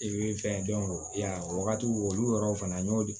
fɛn dɔn i y'a o wagatiw olu yɔrɔw fana n'o di